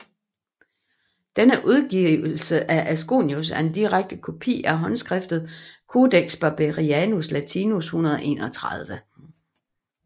Denne udgivelse af Asconius er en direkte kopi af håndskriftet Codex Barberianianus Latinus 131